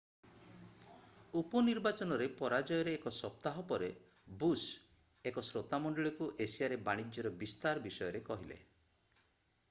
ଉପନିର୍ବାଚନରେ ପରାଜୟର ଏକ ସପ୍ତାହ ପରେ ବୁଶ୍ ଏକ ଶ୍ରୋତାମଣ୍ଡଳୀକୁ ଏସିଆରେ ବାଣିଜ୍ୟର ବିସ୍ତାର ବିଷୟରେ କହିଲେ